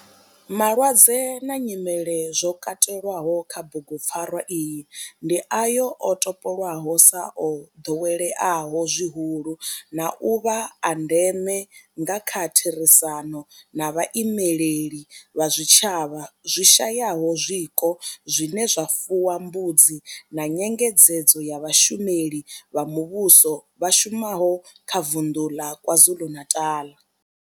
Malwadze na nyimele zwo katelwaho kha bugupfarwa iyi ndi ayo o topolwaho sa o doweleaho zwihulu na u vha a ndeme nga kha therisano na vhaimeleli vha zwitshavha zwi shayaho zwiko zwine zwa fuwa mbudzi na nyengedzedzo ya vhashumeli vha muvhusho vha shumaho kha vunḓu ḽa KwaZulu-Natal.